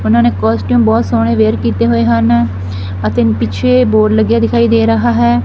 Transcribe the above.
ਉਹਨਾਂ ਨੇ ਕੋਸਟੀਉਮ ਬਹੁਤ ਸੋਹਨੇ ਵਿਅਰ ਕੀਤੇ ਹੋਏ ਹਨ ਅਤੇ ਪਿੱਛੇ ਬੋਰਡ ਲੱਗਾ ਹੋਇਆ ਦਿਖਾਈ ਦੇ ਰਿਹਾ ਹੈ।